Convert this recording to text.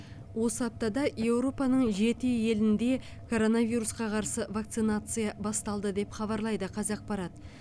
осы аптада еуропаның жеті елінде коронавирусқа қарсы вакцинация басталды деп хабарлайды қазақпарат